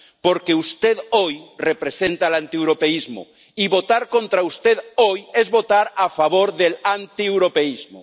Porque usted hoy representa al europeísmo y votar contra usted hoy es votar a favor del antieuropeísmo.